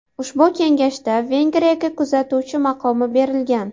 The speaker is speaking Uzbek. Ushbu kengashda Vengriyaga kuzatuvchi maqomi berilgan.